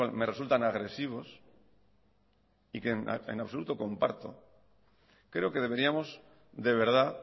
me resultan agresivos y que en absoluto comparto creo que deberíamos de verdad